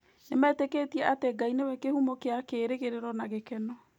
Nĩmetĩkĩtie atĩ Ngai nĩwe kĩhumo kĩa kĩĩrĩgĩrĩro na gĩkeno.